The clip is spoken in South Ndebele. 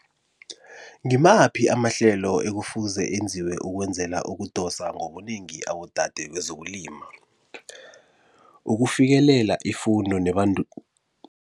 Ngimaphi amahlelo ekufuze enziwe ukwenzela ukudosa ngobunengi abodade kwezokulima? Ukufikelela ifundo